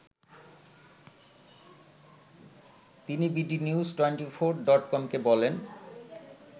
তিনি bdnews twenty four ডটকমকে বলেন